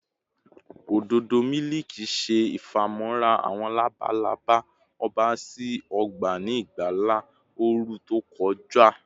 ododo miliki ṣe ifamọra awọn labalaba ọba si ọgba ni igba ooru to kọja